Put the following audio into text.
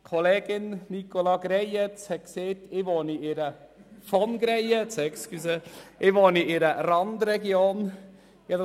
Kollegin Nicola Greyerz – entschuldigen Sie: von Greyerz – hat erwähnt, dass ich in einer Randregion wohne.